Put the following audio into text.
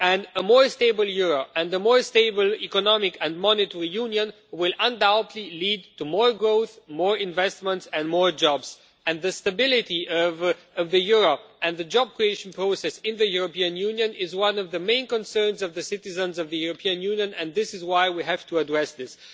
A more stable euro and a more stable Economic and Monetary Union will undoubtedly lead to more growth, more investment and more jobs. The stability of the euro and the job creation process in the European Union is one of the main concerns of the citizens of the European Union, and this is why we have to address this.